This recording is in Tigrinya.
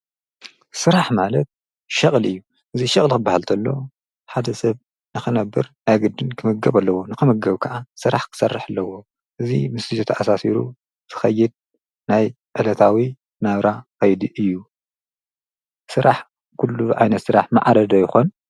ሥራሕ ማለት ሽቕል እዩ እዙይ ሽቕሊ ኽበሃልንተሎ ሓደ ሰብ ነኸነብር ኣያግድን ክምገብ ኣለዎ ንኸምገብ ከዓ ሥራሕ ክሠርሕ ኣለዎ እዙይ ምስዘተ ኣሣሲሩ ትኸይድ ናይ ኤለታዊ ናብራ ኸይድ እዩ ሥራሕ ኲሉ ኣይነ ሥራሕ መዓለዶ ይኾን።